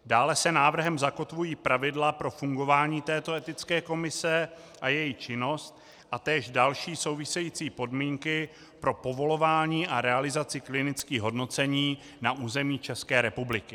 Dále se návrhem zakotvují pravidla pro fungování této etické komise a její činnost a též další související podmínky pro povolování a realizaci klinických hodnocení na území České republiky.